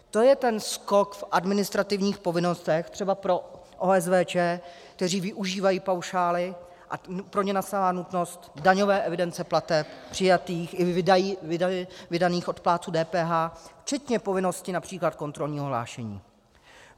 To je ten skok v administrativních povinnostech třeba pro OSVČ, které využívají paušály, a pro ně nastává nutnost daňové evidence plateb přijatých i vydaných od plátců DPH včetně povinnosti například kontrolního hlášení.